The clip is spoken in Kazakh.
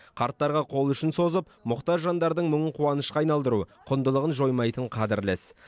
қарттарға қол ұшын созып мұқтаж жандардың мұңын қуанышқа айналдыру құндылығын жоймайтын қадірлі іс